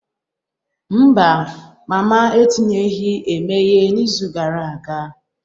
Mba, mama etinyeghị emeghe n'izu gara aga.